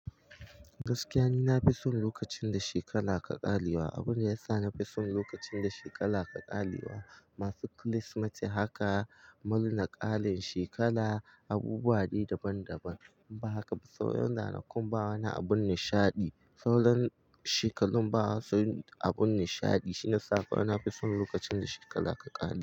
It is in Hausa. Gaskiya ni na fi son lokacin da shekara ke ƙarewa. Abin da ya sa na fi son lokacin da shekara ke ƙarewa, masu Kirsimeti haka, murna, ƙarin shekara, abubuwa dai daban daban. In ba haka ba sauran ranakun ba wani abun nishaɗi. Sauran shekarun ba wasu abun nishaɗi. Shine yasa na fi son lokacin da shekara ke ƙarewa.